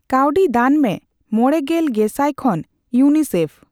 ᱠᱟᱣᱰᱤ ᱫᱟᱱ ᱢᱮ ᱢᱚᱲᱮᱜᱮᱞ ᱜᱮᱥᱟᱭ ᱠᱷᱚᱱ ᱤᱭᱩᱮᱱᱟᱭᱥᱤᱤᱮᱯᱷ